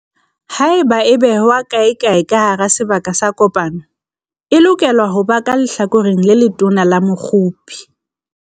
Haeba e behwa kaekae ka hara sebaka sa kopano, e lokela ho ba ka lehlakoreng le letona la mokgopi.